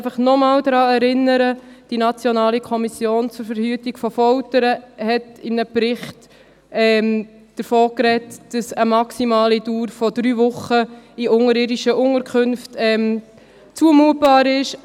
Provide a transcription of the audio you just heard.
Ich möchte noch einmal daran erinnern, dass die Nationale Kommission zur Verhütung von Folter (NKVF) in einem Bericht davon sprach, dass eine maximale Dauer von drei Wochen in unterirdischen Unterkünften zumutbar ist.